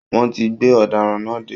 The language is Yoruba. Wọ́n ti gbé ọ̀daràn náà dé